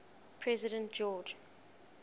president george